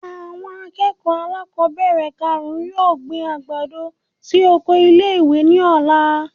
Awon akeko alákobere karún-un yoo gbin agbado si oko ile-iwe ní ola.